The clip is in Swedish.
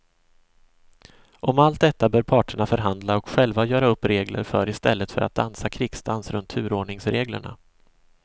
Om allt detta bör parterna förhandla och själva göra upp regler för i stället för att dansa krigsdans runt turordningsreglerna.